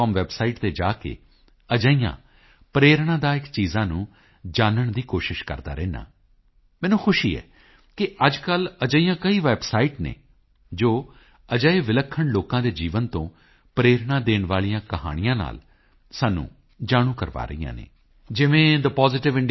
com website ਤੇ ਜਾ ਕੇ ਅਜਿਹੀਆਂ ਪ੍ਰੇਰਣਾਦਾਇੱਕ ਚੀਜ਼ਾਂ ਨੂੰ ਜਾਨਣ ਦੀ ਕੋਸ਼ਿਸ਼ ਕਰਦਾ ਰਹਿੰਦਾ ਹਾਂ ਮੈਨੂੰ ਖੁਸ਼ੀ ਹੈ ਕਿ ਅੱਜਕੱਲ੍ਹ ਅਜਿਹੀਆਂ ਕਈ ਵੈਬਸਾਈਟ ਹਨ ਜੋ ਅਜਿਹੇ ਵਿਲੱਖਣ ਲੋਕਾਂ ਦੇ ਜੀਵਨ ਤੋਂ ਪ੍ਰੇਰਣਾ ਦੇਣ ਵਾਲੀਆਂ ਕਈ ਕਹਾਣੀਆਂ ਨਾਲ ਸਾਨੂੰ ਜਾਣੂ ਕਰਵਾ ਰਹੀਆਂ ਹਨ ਜਿਵੇਂ thepositiveindia